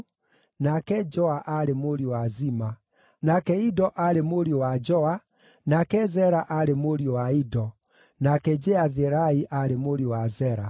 nake Joa aarĩ mũriũ wa Zima, nake Ido aarĩ mũriũ wa Joa, nake Zera aarĩ mũriũ wa Ido, nake Jeatherai aarĩ mũriũ wa Zera.